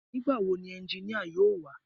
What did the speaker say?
Nígbà wo ni ẹnginíà yóò wá